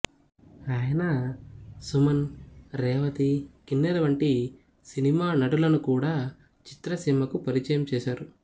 ఆయన సుమన్ రేవతి కిన్నెర వంటి సినిమా నటులను కూడా చిత్రసీమకు పరిచయం చేసారు